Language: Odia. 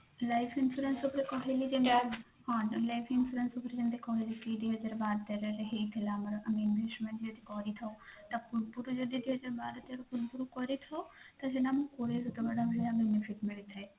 life insurance ଉପରେ କହିଲି ତ life insurance ଯେମିତି କହିଲି କି ଦୁଇ ହଜାର ବାର ତେରରେ ହେଇଥିଲା ଆମର investment ଯଦି କରିଥାଉ ତା ପୂର୍ବରୁ ଯଦି କରିଥାଉ benefit ମିଳିଥାଏ